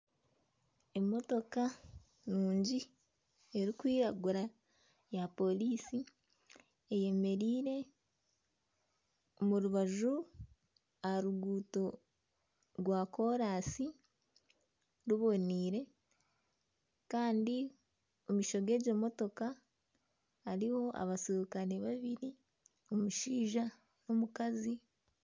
Emotoka nungi erikwiragura ya polisi, eyemereire omu rubaju aha ruguuto ,rwa kolansi ruboneire Kandi omu maisho gegyo motoka hariho abaserukale babiri omushaija n'omukazi.